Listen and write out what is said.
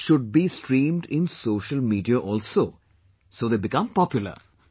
This should be streamed in social media also so they become popular